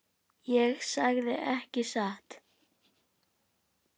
Ég sagði ekki satt.